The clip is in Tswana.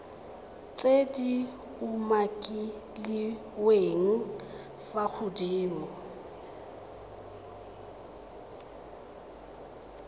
tse di umakiliweng fa godimo